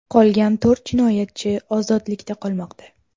Qolgan to‘rt jinoyatchi ozodlikda qolmoqda.